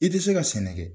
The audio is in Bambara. I tɛ se ka sɛnɛ kɛ